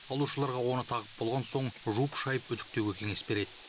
алушыларға оны тағып болған соң жуып шайып үтіктеуге кеңес береді